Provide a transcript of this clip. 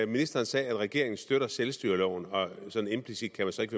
ministeren sagde at regeringen støtter selvstyreloven og at sådan implicit kan man så ikke